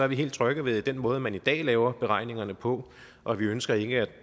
vi helt trygge ved den måde man i dag laver beregningerne på og vi ønsker ikke at